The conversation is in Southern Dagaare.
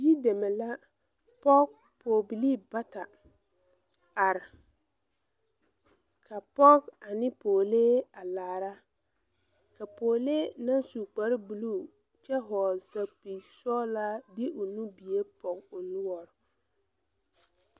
Yideme la pɔg poobilii bata are ka poge ane poolee a laara ka poolee naŋ su kparebluu kyɛ hɔɔle sɛpige sɔglaa de o nubie poge o noɔre.